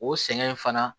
O sɛgɛn in fana